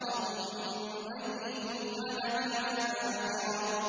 تَظُنُّ أَن يُفْعَلَ بِهَا فَاقِرَةٌ